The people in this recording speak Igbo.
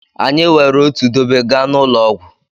Anyị were otu dobe gaa n'ụlọ ọgwụ.